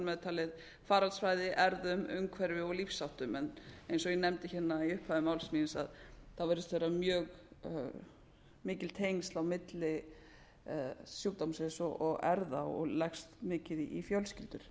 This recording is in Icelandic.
með talið baráttusvæði erfðum umhverfi og lífsháttum en eins og ég nefndi í upphafi máls míns virðist vera mjög mikil tengsl á milli sjúkdómsins og erfða og leggst mikið í fjölskyldur